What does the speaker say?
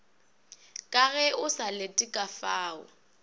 ka ge o sa letekafao